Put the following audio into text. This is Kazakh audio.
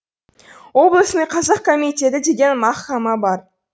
облысный қазақ комитеті деген мәхкәмә бар